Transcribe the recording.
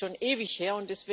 Es ist schon ewig her.